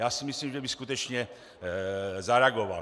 Já si myslím, že by skutečně zareagoval.